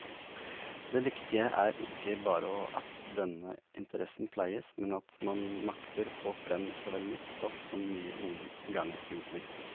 Det viktige er ikke bare at denne interessen pleies, men at man makter få frem såvel nytt stoff som nye inngangsvinkler.